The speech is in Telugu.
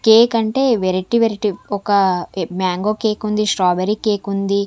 కేక్ అంటే వెరైటీ వెరైటీ ఒక మ్యాంగో కేక్ ఉంది స్ట్రాబెర్రీ కేక్ ఉంది.